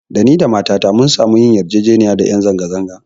Da ni da matata mun samu yin yarjejeniya da ƴan zanga-zanga